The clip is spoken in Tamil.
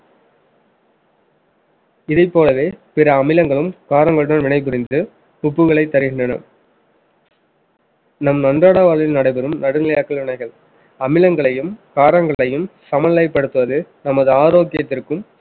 இதைப் போலவே பிற அமிலங்களும் காரங்களுடன் வினைபுரிந்து உப்புகளைத் தருகின்றன நம் அன்றாட வாழ்வில் நடைபெறும் நடுநிலையாக்கல் வினைகள் அமிலங்களையும் காரங்களையும் சமநிலைப்படுத்துவது, நமது ஆரோக்கியத்திற்கும்